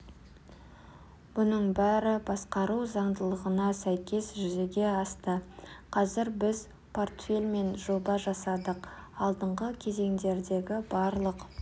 бұның бәрі басқару заңдылығына сәйкес жүзеге асты қазір біз портфель мен жоба жасадық алдыңғы кезеңдердегі барлық